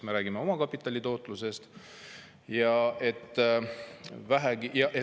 Me räägime omakapitali tootlusest.